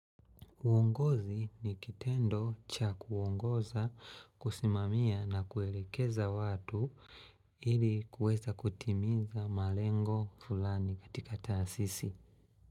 Uongozi ni kitendo cha kuongoza, kusimamia na kuelekeza watu ili kuweza kutimiza malengo fulani katika taasisi.